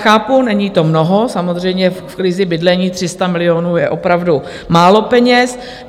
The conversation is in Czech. Chápu, není to mnoho, samozřejmě v krizi bydlení 300 milionů je opravdu málo peněz.